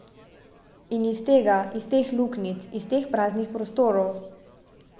In iz tega, iz teh luknjic, iz teh praznih prostorov ...